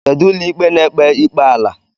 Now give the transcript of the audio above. Kedụ ụlọikpe na-ekpe ikpe ala?